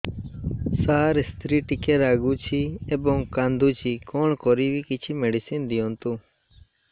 ସାର ସ୍ତ୍ରୀ ଟିକେ ରାଗୁଛି ଏବଂ କାନ୍ଦୁଛି କଣ କରିବି କିଛି ମେଡିସିନ ଦିଅନ୍ତୁ